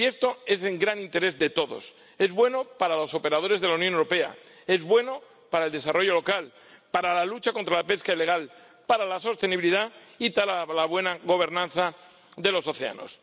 Y esto es en gran interés de todos. Es bueno para los operadores de la Unión Europea, es bueno para el desarrollo local, para la lucha contra la pesca ilegal, para la sostenibilidad y para la buena gobernanza de los océanos.